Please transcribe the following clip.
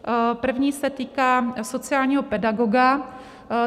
První se týká sociálního pedagoga.